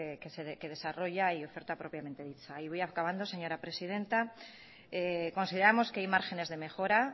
que desarrolla y oferta propiamente dicha y voy acabando señora presidenta consideramos que hay márgenes de mejora